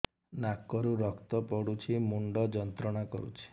ନାକ ରୁ ରକ୍ତ ପଡ଼ୁଛି ମୁଣ୍ଡ ଯନ୍ତ୍ରଣା କରୁଛି